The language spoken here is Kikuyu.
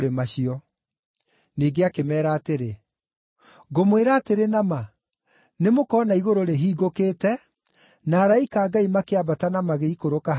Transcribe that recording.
Ningĩ akĩmeera atĩrĩ, “Ngũmwĩra atĩrĩ na ma, nĩmũkona igũrũ rĩhingũkĩte na araika a Ngai makĩambata na magĩikũrũka, harĩ Mũrũ wa Mũndũ.”